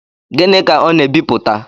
Gịnị ka ọ na ebipụta?